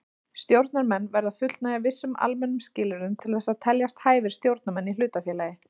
Stjórnarmenn verða að fullnægja vissum almennum skilyrðum til þess að teljast hæfir stjórnarmenn í hlutafélagi.